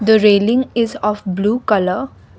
the railing is of blue colour.